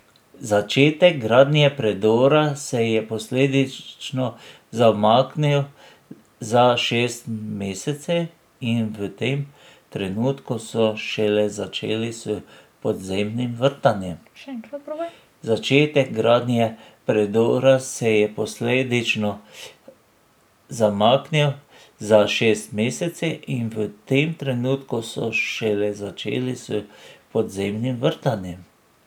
Začetek gradnje predora se je posledično zamaknil za šest mesecev in v tem trenutku so šele začeli s podzemnim vrtanjem.